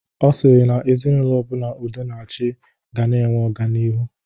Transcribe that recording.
Ọ sịrị na ezinaụlọ ọbụla udo na achị ga na-enwe ọganihu